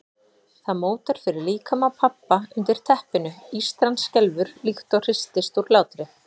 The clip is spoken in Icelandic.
Það mótar fyrir líkama pabba undir teppinu, ístran skelfur líkt og hristist úr hlátri.